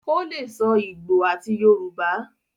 o le sọ igbó àti Yorùbá.